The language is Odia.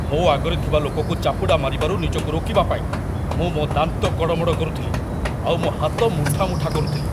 ମୋ ଆଗରେ ଥିବା ଲୋକକୁ ଚାପୁଡ଼ା ମାରିବାରୁ ନିଜକୁ ରୋକିବା ପାଇଁ ମୁଁ ମୋ ଦାନ୍ତ କଡ଼ମଡ଼ କରୁଥିଲି ଆଉ ମୋ ହାତ ମୁଠା ମୁଠା କରୁଥିଲି।